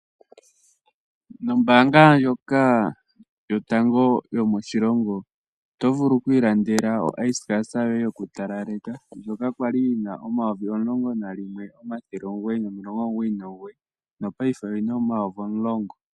Nombaanga ndjoka yotango yomoshilongo oto vulu okwiilandela oaiskas yoye yokutalaleka ndjoka kwali yina N$11,999 nopaife oyina N$10,999.